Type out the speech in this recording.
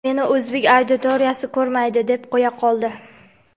"Meni o‘zbek auditoriyasi ko‘rmaydi" deb qo‘ya qoldi.